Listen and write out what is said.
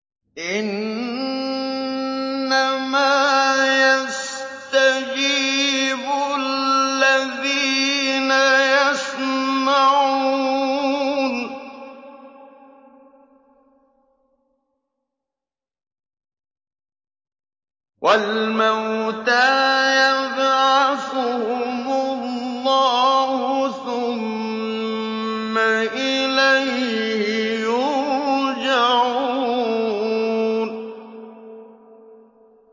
۞ إِنَّمَا يَسْتَجِيبُ الَّذِينَ يَسْمَعُونَ ۘ وَالْمَوْتَىٰ يَبْعَثُهُمُ اللَّهُ ثُمَّ إِلَيْهِ يُرْجَعُونَ